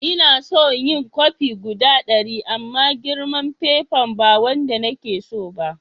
Na so yin kofi guda dari amma girman fafen ba wanda na tso ba.